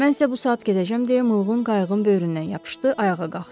Mən isə bu saat gedəcəm deyə mulğun qayıqın böyründən yapışdı, ayağa qalxdı.